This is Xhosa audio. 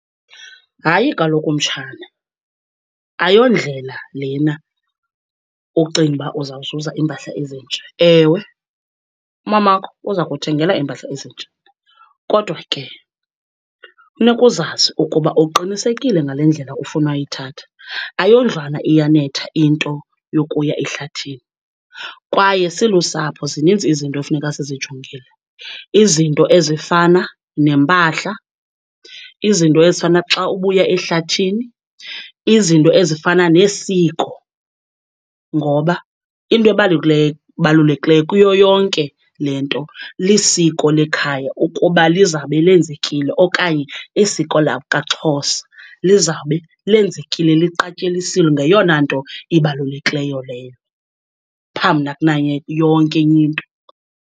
Hayi kaloku mtshana, ayondlela lena ucinga uba uzawuzuza iimpahla ezintsha. Ewe umamakho uza kuthengela iimpahla ezintsha, kodwa ke funeka uzazi ukuba uqinisekile ngale ndlela ufuna uyithatha. Ayondlwana iyanetha into yokuya ehlathini, kwaye silusapho zininzi izinto efuneka sizijongile. Izinto ezifana nempahla, izinto ezifana xa ubuya ehlathini, izinto ezifana nesiko, ngoba into ebalulekileyo kuyo yonke le nto lisiko lekhaya ukuba lizabe lenzekile okanye isiko lakwaXhosa lizawube lenzekile, liqatyelisiwe, ngeyona nto ibalulekileyo leyo phambi yonke enye into.